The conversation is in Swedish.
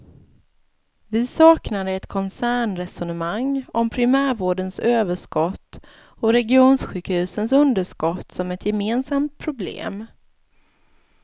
Vi saknade ett koncernresonemang om primärvårdens överskott och regionsjukhusens underskott som ett gemensamt problem.